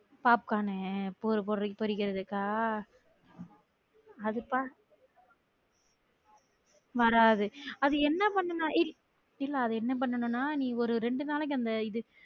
pop கார்னு பேல் பூரிக்கு பொரிக்குரதுக்கா அதுத்தா வராது அது என்ன பண்ணா எய் இல்ல அது என்ன பண்ணுன்னா நீ ஒரு இரண்டு நாளைக்கு அந்த இது